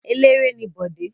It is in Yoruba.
Eléré ni Bọ̀dé.